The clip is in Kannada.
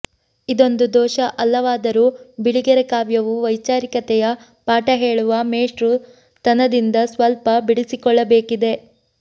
ಇದೊಂದು ದೋಷ ಅಲ್ಲವಾದರೂ ಬಿಳಿಗೆರೆ ಕಾವ್ಯವು ವೈಚಾರಿಕತೆಯ ಪಾಠ ಹೆಳುವ ಮೇಷ್ಟ್ರುತನದಿಂದ ಸ್ವಲ್ಪ ಬಿಡಿಸಿಕೊಳ್ಳಬೇಕಿದೆ